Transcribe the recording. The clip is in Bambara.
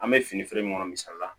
An bɛ fini feere min kɔnɔ misali la